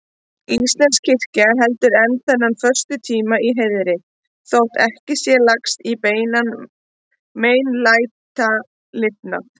Íslensk kirkja heldur enn þennan föstutíma í heiðri, þótt ekki sé lagst í beinan meinlætalifnað.